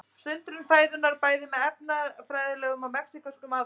Sundrun fæðunnar bæði með efnafræðilegum og mekanískum aðferðum.